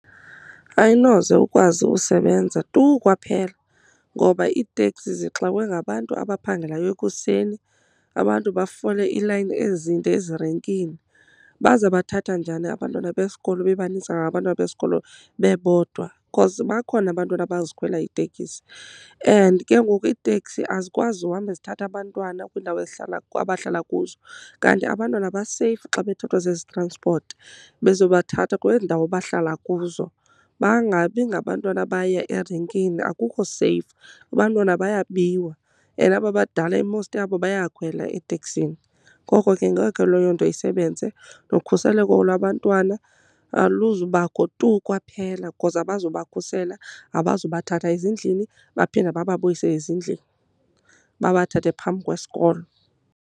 Ayinoze ukwazi usebenza tu kwaphela, ngoba iiteksi zixakwe ngabantu abaphangelayo ekuseni, abantu bafole iilayini ezinde ezirenkini. Bazabathatha njani abantwana besikolo bebanintsi kangaka abantwana besikolo bebodwa? Because bakhona abantwana abazikhwelayo iitekisi. And ke ngoku iitekisi azikwazi uhamba zithatha abantwana kwiindawo abahlala kuzo, kanti abantwana baseyifu xa bethathwa zezitranspoti bezobathatha kwezi ndawo bahlala kuzo. Bangabi ngabantwana abaya erenkini, akukho seyifu abantwana bayabiwa. And aba badala i-most yabo bayakhwela eteksini. Ngoko ke ngeke leyo nto isebenze, nokhuseleko lwabantwana aluzubakho tu kwaphela. Because abazubakhusela, abazubathatha ezindlini baphinde bababuyise ezindlini, babathathe phambi kwesikolo.